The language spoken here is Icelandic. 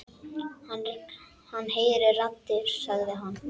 Hann heyrir raddir sagði hann.